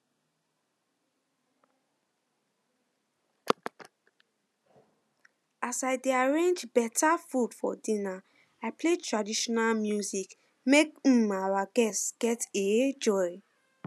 as i dey arrange um food for dinner i play traditional music make um our guests get um joy